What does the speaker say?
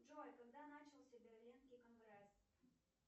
джой когда начался берлинский конгресс